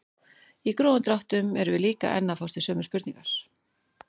Í grófum dráttum erum við líka enn að fást við sömu spurningar.